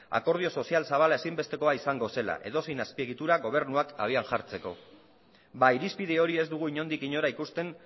akordio sozial zabala ezinbestekoa izango zela edozein azpiegitura gobernuak abian jartzeko ba irizpide hori ez dugu inondik inora ikusten